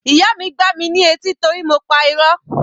Ìyá mi gbá mi ní etí torí mo pa irọ́.